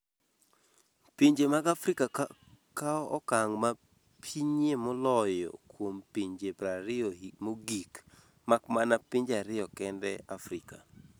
Pinje mag Afrika kawo okang’ ma pinyie moloyo kuom pinje 20 mogik, mak mana pinje ariyo kende Afrika .